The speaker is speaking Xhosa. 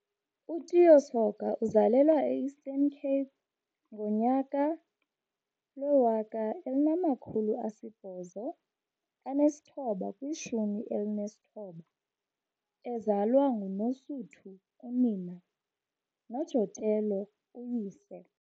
U-Tiyo Soga uzalelwe e-Eastern Cape ngo-1819, ezalwa nguNosuthu, unina, noJotello, uyise.